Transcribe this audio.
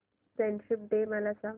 friendship day मला सांग